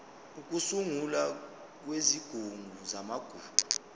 ukusungulwa kwesigungu samagugu